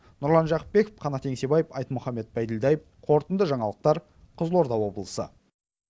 нұрлан жақыпбеков қанат еңсебаев айтмұхамед байділдаев қорытынды жаңалықтар қызылорда облысы